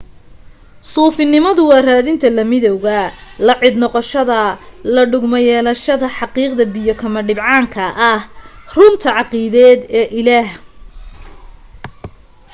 suufinimadu waa raadinta la midawga la cid noqoshada la dhugmo-yeelashada xaqiiqda biyo kama dhibcaanka ah runta caqiideed ee ilaah